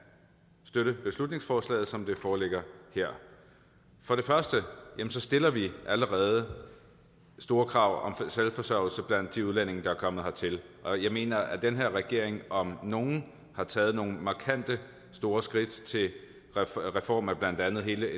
støtte beslutningsforslaget som det foreligger her for det første stiller vi allerede store krav om selvforsørgelse blandt de udlændinge der er kommet hertil og jeg mener at den her regering om nogen har taget nogle markante og store skridt til en reform af blandt andet hele